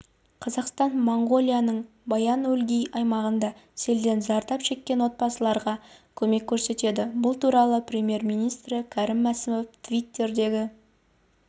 қазақстан моңғолияның баян-өлгий аймағында селден зардап шеккен отбасыларға көмек көрсетеді бұл туралы премьер-министрі кәрім мәсімов твиттердегі